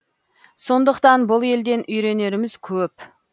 сондықтан бұл елден үйренеріміз көп